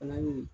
Fana ye